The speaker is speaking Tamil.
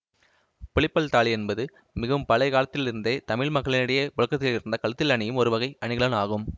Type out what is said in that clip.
புலிப்பல் தாலி என்பது மிகவும் பழைய காலத்திலிருந்தே தமிழ் மக்களிடையே புழக்கத்தில் இருந்த கழுத்தில் அணியும் ஒரு வகை அணிகலன் ஆகும்